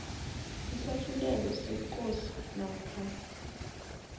isahlulelo sekosi namkha